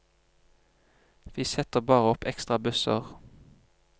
Vi setter bare opp ekstra busser.